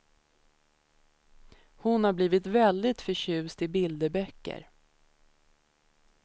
Hon har blivit väldigt förtjust i bilderböcker.